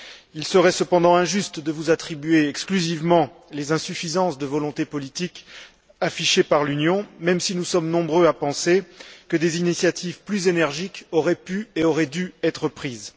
Il serait cependant injuste de vous attribuer exclusivement les insuffisances de volonté politique affichées par l'Union, même si nous sommes nombreux à penser que des initiatives plus énergiques auraient pu et auraient dû être prises.